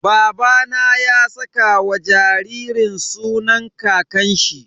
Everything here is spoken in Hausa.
Babana ya saka wa jaririn sunan kakanshi.